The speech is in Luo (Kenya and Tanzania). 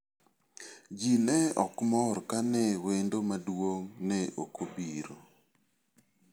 Ji ne ok mor kane wendo maduong' ne ok obiro.